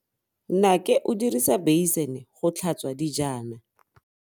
Nnake o dirisa beisene go tlhatswa dijana.